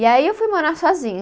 E aí eu fui morar sozinha.